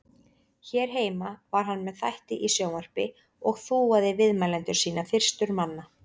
Hér heima var hann með þætti í sjónvarpi og þúaði viðmælendur sína fyrstur manna.